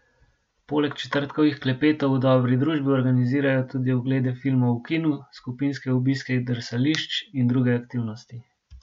Poleg četrtkovih klepetov v dobri družbi organizirajo tudi oglede filmov v kinu, skupinske obiske drsališč in druge aktivnosti.